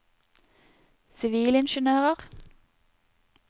sivilingeniører